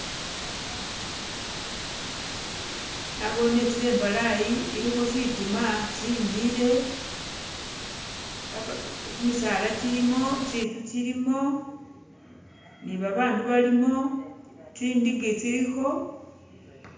Naboone itsila imbalayi ilikho shitima shimile baba gyimisaala gyilimo tsinzu tsilimo ni babandu balimo tsindigi tsilikho